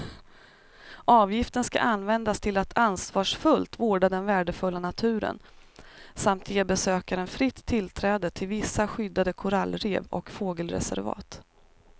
Avgiften ska användas till att ansvarsfullt vårda den värdefulla naturen samt ge besökaren fritt tillträde till vissa skyddade korallrev och fågelreservat.